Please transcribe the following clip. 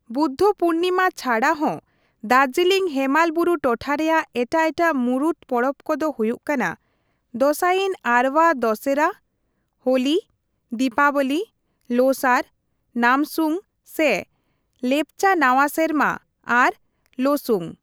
ᱵᱩᱫᱫᱷᱚ ᱯᱩᱨᱱᱤᱢᱟ ᱪᱷᱟᱰᱟ ᱦᱚᱸ ᱫᱟᱨᱡᱤᱞᱤᱥ ᱦᱮᱢᱟᱞ ᱵᱩᱨᱩ ᱴᱚᱴᱷᱟ ᱨᱮᱭᱟᱜ ᱮᱴᱟᱜ ᱮᱴᱟᱜ ᱢᱩᱲᱩᱫ ᱯᱚᱨᱚᱵ ᱠᱚᱫᱚ ᱦᱩᱭᱩᱜ ᱠᱟᱱᱟ ᱫᱚᱥᱟᱭᱤᱱ ᱟᱨᱵᱟᱝ ᱫᱚᱥᱦᱚᱨᱟ, ᱦᱳᱞᱤ, ᱫᱤᱯᱟᱵᱚᱞᱤ, ᱞᱳᱥᱟᱨ, ᱱᱟᱢᱥᱩᱝ ᱥᱮ ᱞᱮᱯᱪᱟ ᱱᱟᱣᱟᱥᱮᱨᱢᱟ ᱟᱨ ᱞᱳᱥᱩᱝ ᱾